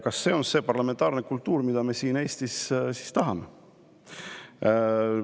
Kas see on see parlamentaarne kultuur, mida me siin Eestis tahame?